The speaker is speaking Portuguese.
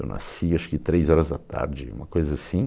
Eu nasci acho que três horas da tarde, uma coisa assim.